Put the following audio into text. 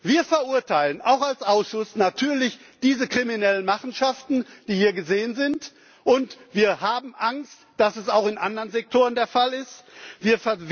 Wir verurteilen, auch als Ausschuss, natürlich diese kriminellen Machenschaften, die hier geschehen sind, und wir haben Angst, dass es auch in anderen Sektoren geschieht.